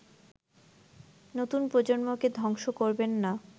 নতুন প্রজন্মকেধ্বংস করবেন না